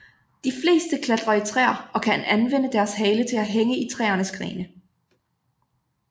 De fleste klatrer i træer og kan anvende deres hale til at hænge i træernes grene